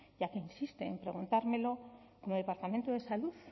ya que insiste en preguntármelo como departamento de salud